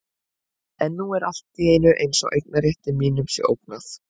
En nú er allt í einu eins og eignarrétti mínum sé ógnað.